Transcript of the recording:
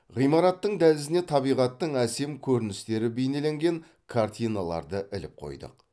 ғимараттың дәлізіне табиғаттың әсем көріністері бейнеленген картиналарды іліп қойдық